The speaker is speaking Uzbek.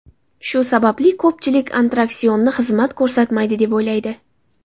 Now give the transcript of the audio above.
Shu sababli ko‘pchilik attraksionni xizmat ko‘rsatmaydi, deb o‘ylaydi.